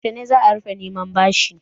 Yaushe za a rufe neman bashin?